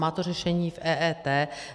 Má to řešení v EET.